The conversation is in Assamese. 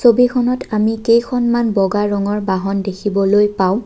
ছবিখনত আমি কেইখনমান বগা ৰঙৰ বাহন দেখিবলৈ পাওঁ।